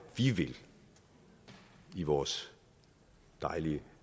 vi vil i vores dejlige